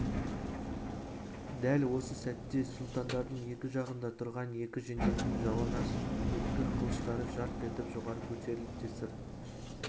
дәл осы сәтте сұлтандардың екі жағында тұрған екі жендеттің жалаңаш өткір қылыштары жарқ етіп жоғары көтерілді де сыр